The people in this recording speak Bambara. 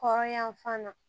Hɔrɔnya fana na